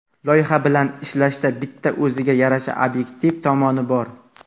Loyiha bilan ishlashda bitta o‘ziga yarasha obyektiv tomoni bor.